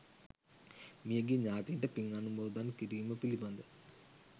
මිය ගිය ඥාතීන්ට පින් අනුමෝදන් කිරීම පිළිබඳ